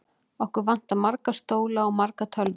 Okkur vantar marga stóla og margar tölvur.